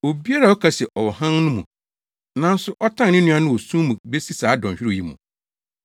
Obiara a ɔka se ɔwɔ hann no mu, nanso ɔtan ne nua no wɔ sum mu besi saa dɔnhwerew yi mu.